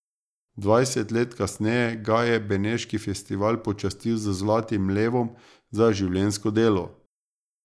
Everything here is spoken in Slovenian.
Dvajset let kasneje ga je beneški festival počastil z zlatim levom za življenjsko delo.